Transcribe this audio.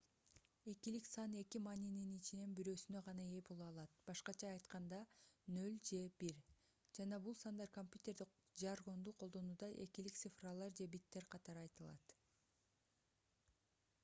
экилик сан эки маанинин ичинен бирөөсүнө гана ээ боло алат б.а. 0 же 1 жана бул сандар компьютердик жаргонду колдонууда экилик цифралар же биттер катары айтылат